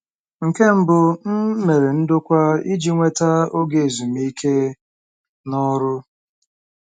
Nke mbụ, m mere ndokwa iji nweta oge ezumike n'ọrụ.